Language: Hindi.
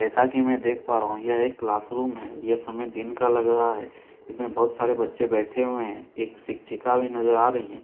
जैसा कि मैं देख पा रहा हूं यह एक क्लास रूम है यह समय दिन का लग रहा है इसमें बहुत सारे बच्चे बैठे हुए हैं एक शिक्षिका भी नजर आ रही है।